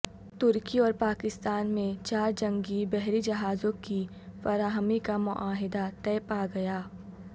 ترکی اور پاکستان میںچار جنگی بحری جہازوں کی فراہمی کا معاہدہ طے پا گیا